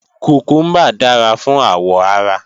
Kùkúmbà dára fún àwọ̀ ara